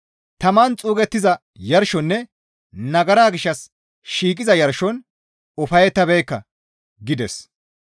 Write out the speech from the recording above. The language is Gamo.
Taman xuugettiza yarshonne nagara gishshas shiiqiza yarshon ufayettabeekka» gides.